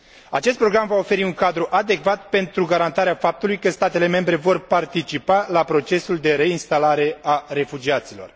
Acest program va oferi un cadru adecvat pentru garantarea faptului că statele membre vor participa la procesul de reinstalare a refugiaților.